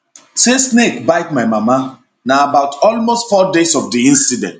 [say snake bite my mama] na about almost four days of di incident